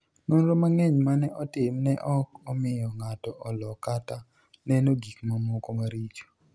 Nonro mang'eny ma ne otim ne ok omiyo ng'ato olo kata neno gik mamoko maricho.